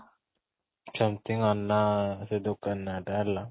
something ସେ ଆନ୍ନା ଦୋକାନ ନା ଟା ହେଲା